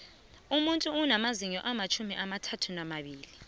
umuntu unamazinyo amatjhumi amathathanambili